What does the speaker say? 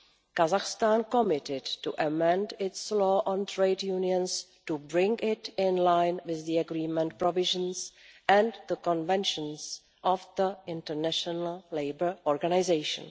Kazakhstan committed to amend its law on trade unions to bring it in line with the Agreement provisions and the conventions of the International Labour Organization.